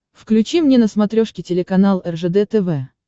включи мне на смотрешке телеканал ржд тв